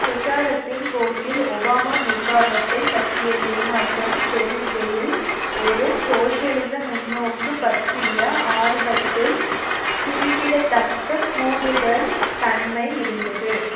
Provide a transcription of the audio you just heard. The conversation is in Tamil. பிரச்சாரத்தின் போக்கில் ஒபாமா நிர்வாகத்தை பற்றிய ஏமாற்றம் பெருகுகையில் ஒரு சோசியலிச முன்னோக்கு பற்றிய ஆர்வத்தில் குறிப்பிடத்தக்க கூடுதல் தன்மை இருந்தது